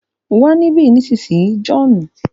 Wá nibi ọtun bayi John!